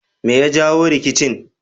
Me ya jawo rikicin